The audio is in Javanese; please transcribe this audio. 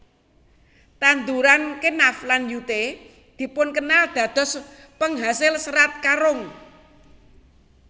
Tanduran Kenaf lan Yute dipun kenal dados penghasil Serat Karung